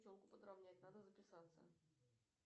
челку подравнять надо записаться